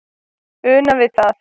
una við það